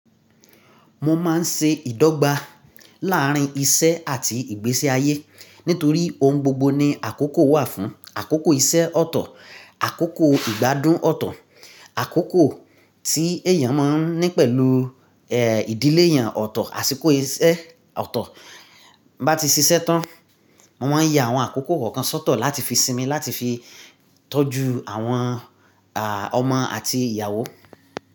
Mo máa ń ṣe ìdọ́gba láàrín iṣẹ́ àti ìgbésí ayé nítorí ohun gbogbo ní àkókò wà fún. Àkókò iṣẹ́ ọ̀tọ̀, àkókò ìgbádùn ọ̀tọ̀, àkókò tí èèyàn máa ń ní pẹ̀lú, eh, ìdílé yan ọ̀tọ̀, àsìkò iṣẹ́ ọ̀tọ̀ bá ti ṣiṣẹ́ tán. Mo máa ń ye àwọn àkókò kọ̀ọ̀kan sọ́tọ̀ láti fi sinmi, láti fi tọ́jú àwọn, à, ọmọ àti ìyàwó.